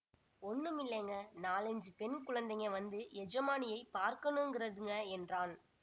ஒண்ணுமில்லைங்க நாலைஞ்சு பெண் குழந்தைங்க வந்து எஜமானியைப் பார்க்கணுங்கறதுங்க என்றான்